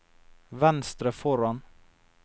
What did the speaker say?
venstre foran